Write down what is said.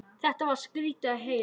Þetta var skrýtið að heyra.